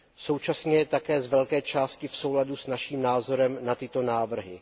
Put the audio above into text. Současně je také z velké části v souladu s naším názorem na tyto návrhy.